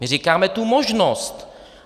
My říkáme tu možnost.